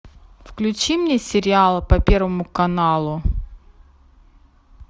включи мне сериал по первому каналу